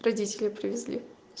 родители привезли